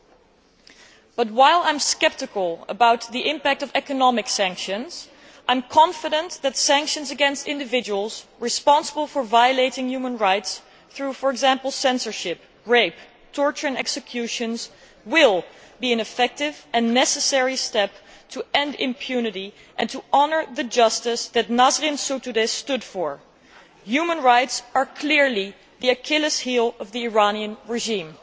However, while I am sceptical about the impact of economic sanctions, I am confident that sanctions against individuals responsible for violating human rights through, for example, censorship, rape, torture and executions, will be an effective and necessary step to end impunity and to honour the justice that Nasrin Sotoudeh stood for. Human rights are clearly the Achilles heel of the Iranian regime.